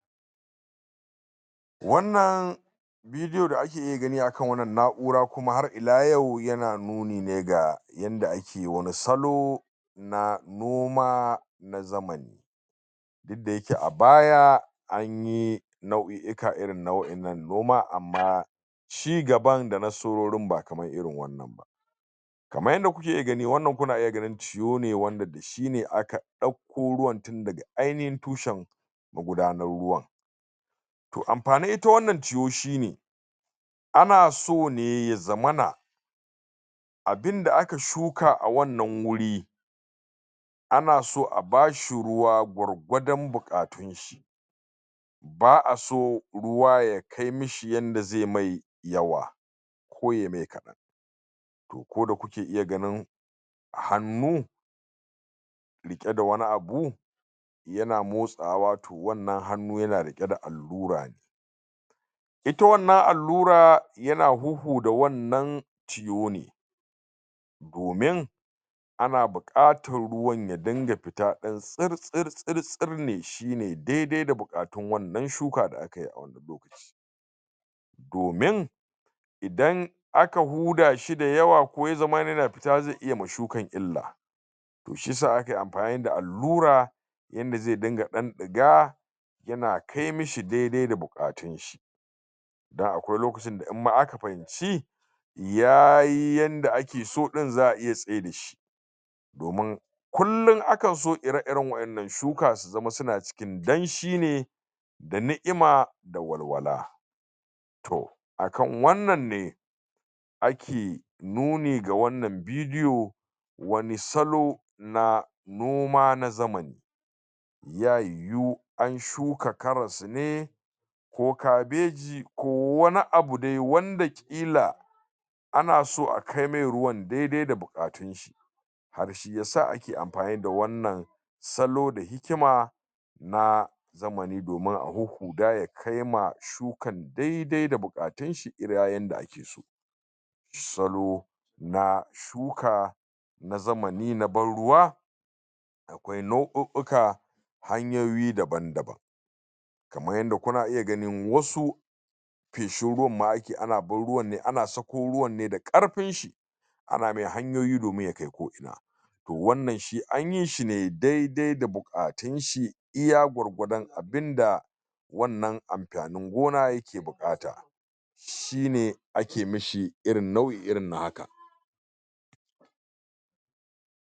wannan video da ake iya gani akan wannan na'ura kuma har ila yau yana nuni ne ga yanda ake wani salo na noma na zamani duk dayake abaya anyi nau'i ika irirn na wannan noma amma shigana danaso wurin ba kaman irin wannan ba kaman yanda kuke iyagani kuna iya ganin wannan ciyo ne wanda shi ne aka dakko ruwan tun daga ainihin tushan magudanar ruwa toh amfanin ita wannan ciyo shine ana sone yazamana abinda aka shuka awannan wuri ana so abashi ruwa gwargwadon bukatu ba'aso ruwa ya kai mishi yanda ze mai yawa (????) ku da kuke iya ganin hannu rike da wani abu yana motsawa wannan hannu yana rike da allura ita wannan allura yana huhuda wannan ciyo ne domin ina bukatan ruwan ya dinga fita dan tsir tsir tsir tsir ne shine daidai da bukatun wannan shuka da akayi awurin domin idan aka buda shi dayawa ko yazamana yana zata iya wa shukan illa toh shiyasa ake amfani da allura yanda ze dinga dan diga yana kai mishi daidai da bukatunshi don akwai lokacinda imma aka fahimci yayi yanda akeso din za'a iya tsayar dashi domin kullun akan so ire ire wayannan shuka su kasance suna ciki danshi ne da ni'ima da walwala toh akan wannan ne ake nuni ga wannan vidio wani salo na noma na zamani (?????? an shuka karas ne ko kabeji ko wani abu de wanda kila ana so akai mai ruwan dede da bukatu har shiyasa ake amfani da wannan salo da hikima na zamani domin daya kaima shukan daidai da bukatunshi iya yanda salo na shuka na zamani na banruwa me nau'u uka hanyoyi daban daban kaman yanda kuna iya ganin wasu feshin ruwan ma ake ana ban ruwan ne ana sako ruwan ne da karfin shi ana mai hanyoyi domin yakai ko'ina wannan shi anyi shine daidai da bukatunshi iya gwargwadon abinda wannan amfanin gona yake bukata shine ake mishi irin nau'i irin na haka